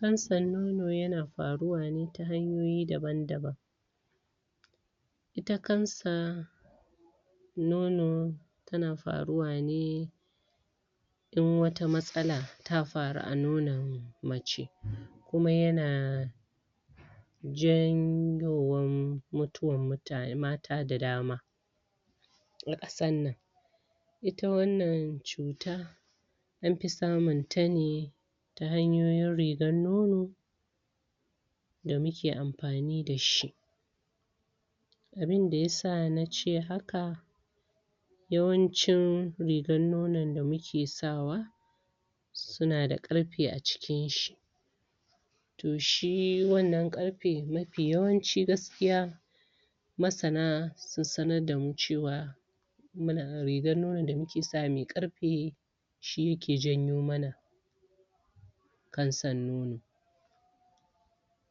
cansan nono ya na faruwane ta hanyoyi daban-daban ita cansan nono tana faruwane dan wata matsala ta faru a nonon mace kuma yana janyowaan mutuwan mutane, mata da dama a kasan nan ita wan nan cuta anfi samun tane ta hanyoyin renon nono da muke anfani dashi abinda ya sa nace haka yawancin rigan nonon da muke sawa suna da karfe a cikin shi to shi wan nan karfe, mafi yawanci gaskiya masana sun sanardamu cewa muna rigan nonon da muke sawa mai karfe shi yake janyo mana cansan nono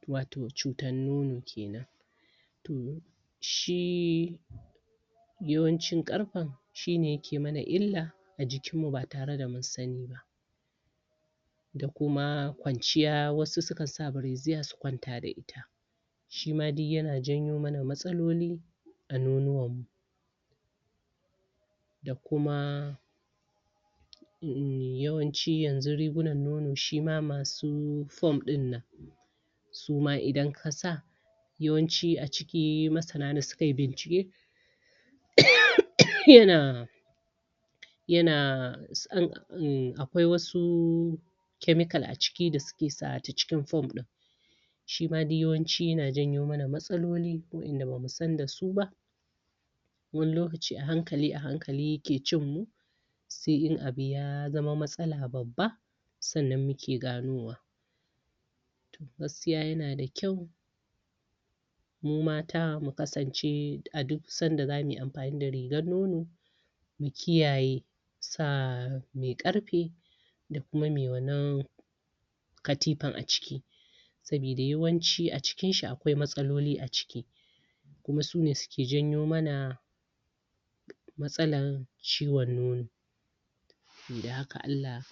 wato cutan nono kenan shii yawancin karfen shine yake mana illa a jikin mu ba tare da mun saniba da kuma kwanciya, wasu su na sa bireziya su kwanta da ita shima duk yana janyomana matsaloli a nonuwan mu da kuma yawanci yan zu rigunan nono shima masu form din nan suma idan ka sa yawan ci a ciki masana ne suka yi bincike yana yana hmmmm akwai wasu chemical a ciki da suke sawa a cikin form din shima yawan ci, yana janyo mana matsaloli wayan da bamu san dasuba wayan da bamu san da su ba wani lokaci ahankali, ahankali yake cin mu sai in abu ya zama matsala babba san nan muke ganowa gaskiya yana da kyau mu mata mu kasance a duk sanda zamuyi anfani da rigan nono mu kiyaye sa mai karfe da kuma mai wanna katifan a ciki sabi da yawanci, a ciki akwai matsaloli, a ciki kuma sune suke janyomana matsalan ciwon nono sabi da haka Allah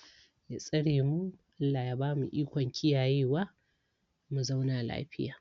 ya tsare mu, Allah ya bamu ikon kiyayewa mu zauna lafiya